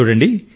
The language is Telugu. చూడండ